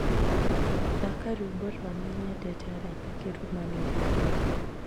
thaaka rwimbo rwa Nĩnyendete Araika kĩrũmanĩrĩrio